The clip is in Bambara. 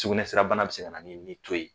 Sugunɛ sira bana be se kana ni ni to ye.